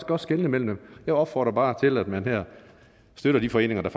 godt skelne mellem dem jeg opfordrer bare til at man her støtter de foreninger der